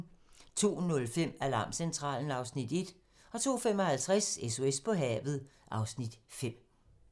02:05: Alarmcentralen (Afs. 1) 02:55: SOS på havet (Afs. 5)